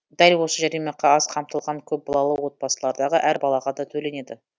дәл осы жәрдемақы аз қамтылған көпбалалы отбасылардағы әр балаға да төленеді